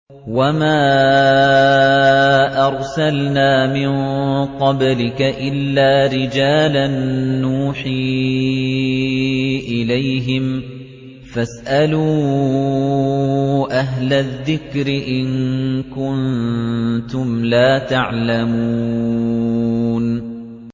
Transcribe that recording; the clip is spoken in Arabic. وَمَا أَرْسَلْنَا مِن قَبْلِكَ إِلَّا رِجَالًا نُّوحِي إِلَيْهِمْ ۚ فَاسْأَلُوا أَهْلَ الذِّكْرِ إِن كُنتُمْ لَا تَعْلَمُونَ